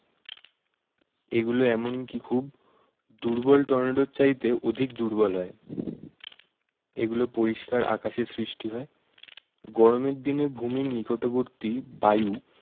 এগুলো এমন কি খুব দুর্বল টর্নেডোর চাইতে অধিক দুর্বল হয়। এগুলো পরিষ্কার আকাশে সৃষ্টি হয়। গরমের দিনে ভূমির নিকটবর্তী বায়ু